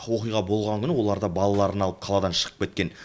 оқиға болған күні олар да балаларын алып қаладан шығып кеткен